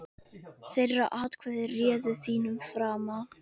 Þeirra atkvæði réðu þínum frama.